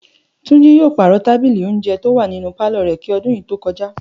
Túnjí yóò pàrò̩ tábìlì ìje̩un tó wà nínú pálò̩ rè̩ kí o̩dún yìí ó tó ko̩já